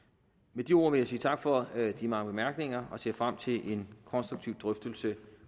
med de ord vil jeg sige tak for de mange bemærkninger og ser frem til en konstruktiv drøftelse